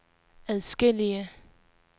adskillige